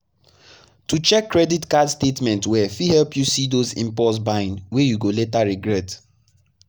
to check credit card statement well fit help you see those impulse buying wey you go later regret.